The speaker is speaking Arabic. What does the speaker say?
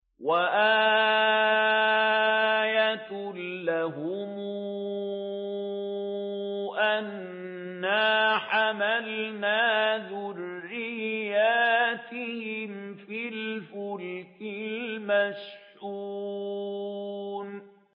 وَآيَةٌ لَّهُمْ أَنَّا حَمَلْنَا ذُرِّيَّتَهُمْ فِي الْفُلْكِ الْمَشْحُونِ